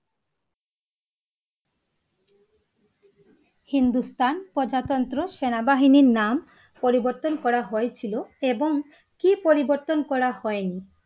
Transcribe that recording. হিন্দুস্তান প্রজাতন্ত্র সেনাবাহিনীর নাম পরিবর্তন করা হয়েছিল এবং কি পরিবর্তন করা হয়নি?